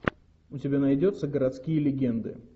у тебя найдется городские легенды